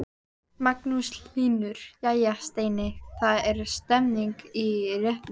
Magnús Hlynur: Jæja Steini, það er stemning í réttunum?